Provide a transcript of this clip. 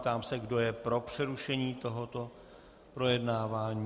Ptám se, kdo je pro přerušení tohoto projednávání.